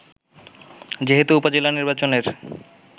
যেহেতু উপজেলা নির্বাচনের